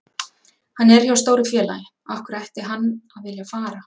Hann er hjá stóru félagi, af hverju ætti hann að vilja fara?